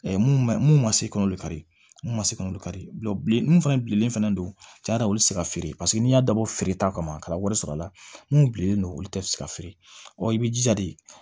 mun ma mun ma se kɔnɔli kari minnu ma se ka olu kari mun fana bilen fɛnɛ cɛn yɛrɛ la olu tɛ se ka feere paseke n'i y'a dabɔ feereta kama ka taa wari sɔrɔ a la mun bilennen don olu tɛ se ka feere i bɛ jija de